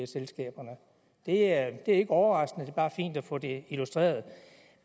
selskaberne det er ikke overraskende det er bare fint at få det illustreret